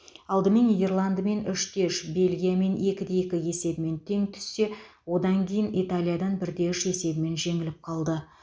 алдымен нидерландымен үш те үш бельгиямен екіде екі есебімен тең түссе одан кейін италиядан бір де үш есебімен жеңіліп қалды